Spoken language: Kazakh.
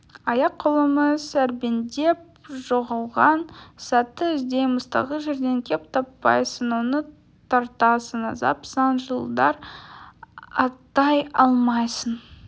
аяқ-қолымыз ербеңдеп жоғалған сәтті іздейміз тағы жерден кеп таппайсың оны тартасың азап сан жылдар аттай алмайсың